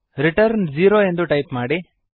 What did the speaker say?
return zero ಎಂದು type ಮಾಡಿ